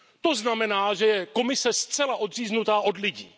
To znamená, že Komise je zcela odříznutá od lidí.